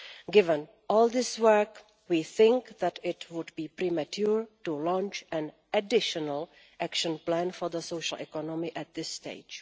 Given all this work, we think that it would be premature to launch an additional action plan for the social economy at this stage.